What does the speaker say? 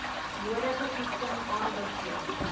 nodige toetsing aanbeveel